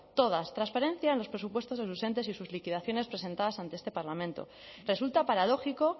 todas transparencia en los presupuestos de sus entes y sus liquidaciones presentadas ante este parlamento resulta paradójico